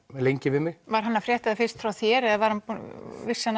lengi við mig var hann að frétta fyrst frá þér eða vissi hann